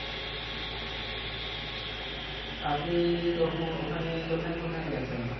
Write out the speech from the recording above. আপনি তখন ওখানে কোথায় কোথায় গেছেন?